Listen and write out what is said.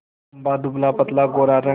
लंबा दुबलापतला गोरा रंग